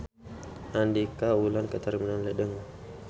Andika ulin ka Terminal Ledeng